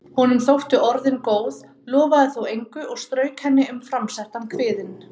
Honum þóttu orðin góð, lofaði þó engu og strauk henni um framsettan kviðinn.